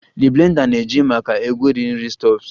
The blender na-eji maka egweri nri stuffs